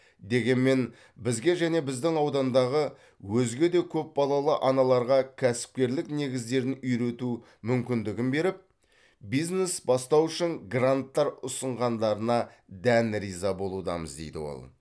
дегенмен бізге және біздің аудандағы өзге де көп балалы аналарға кәсіпкерлік негіздерін үйрету мүмкіндігін беріп бизнес бастау үшін гранттар ұсынғандарына дән риза болудамыз дейді ол